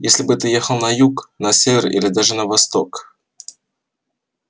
если бы ты ехал на юг на север или даже на восток